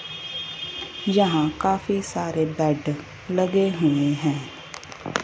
यहां काफी सारे बेड लगे हुए हैं।